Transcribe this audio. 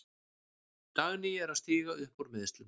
Dagný er að stíga upp úr meiðslum.